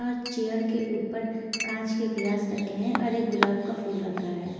हर chair के ऊपर काँच के ग्लास रखे हैं और एक गुलाब का फुल रखा है।